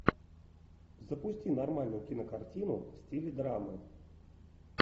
запусти нормальную кинокартину в стиле драмы